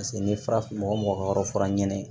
Paseke ni farafin mɔgɔ mɔgɔ ka yɔrɔ fura ɲɛnɛ